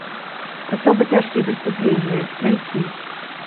особо тяжкие преступления найти